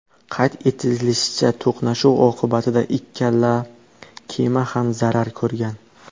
Qayd etilishicha, to‘qnashuv oqibatida ikkala kema ham zarar ko‘rgan.